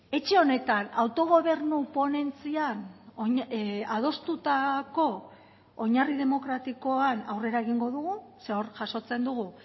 etxe honetan autogobernu ponentzian adostutako oinarri demokratikoan aurrera egingo dugu ze hor jasotzen dugu